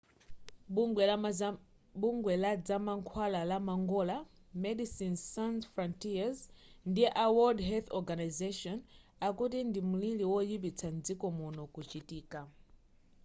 bungwe ladzamankhwala la mangola medecines sans frontieres ndi a world health organisation akuti ndi mlili woyipitsisa mdziko muno kuchitika